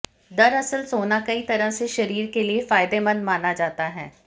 दरअसल सोना कई तरह से शरीर के लिए फायदेमंद माना जाता है